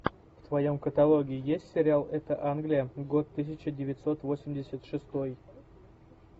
в твоем каталоге есть сериал это англия год тысяча девятьсот восемьдесят шестой